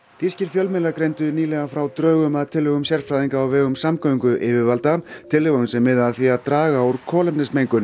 þýskir fjölmiðlar greindu nýlega frá drögum að tillögum sérfræðinga á vegum samgönguyfirvalda tillögum sem miða að því að draga úr